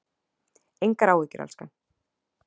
Engar áhyggjur, elskan.